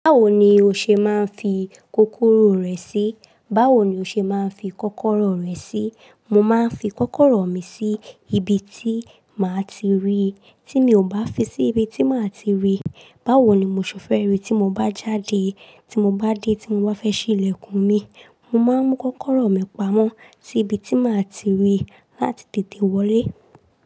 Báwo ni o ṣe máa ń fi kókóró rẹ sí? Báwo ni o ṣe máa ń fi kọ́kọ́rọ́ rẹ sí? Mo máa ń fi kọ́kọ́rọ́ mi sí ibi tí màá ti rí. Tí mi ò bá fi sí ibi tí màá ti rí, báwo ni mo ṣe fẹ́ rí tí mo bá jáde? Tí mo bá dé tí mo bá fẹ́ ṣí ilẹ̀kùn mi, mo máa ń mú kọ́kọ́rọ́ mi pamọ́ sí ibi tí màá ti rí láti tètè wọlé.